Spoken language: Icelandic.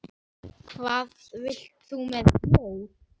Hvað vilt þú með bjór?